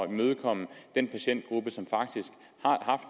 imødekomme den patientgruppe som faktisk